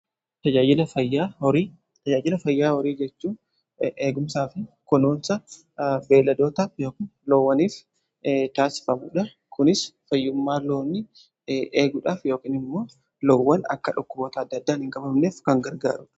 Tajaajila fayyaa horii jechuu eegumsaa fi kunuunsa beelladoota yookiin loowwaniif taasifamuudha. Kunis fayyummaa loon eeguudhaaf yookiin immoo loowwan akka dhukkuboota adda addaan hin qabamneef kan gargaarudha.